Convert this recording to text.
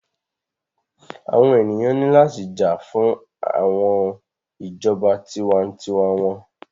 Àwọn ènìyàn ní láti jà fún ìjọba tiwa-n-tiwa wọn.